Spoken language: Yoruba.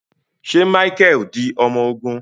Ṣe Micheal di ọmọ ogun?